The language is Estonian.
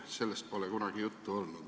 Sellest pole kunagi juttu olnud.